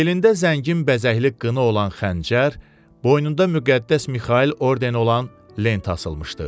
Belində zəngin bəzəkli qını olan xəncər, boynunda müqəddəs Mixail ordeni olan lent asılmışdı.